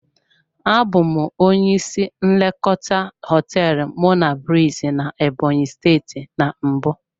Abụ m onye isi nlekọta hoteelu monablis na Ebonyi steeti na mbụ.